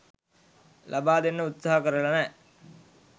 ලබා දෙන්න උත්සාහ කරලා නෑ.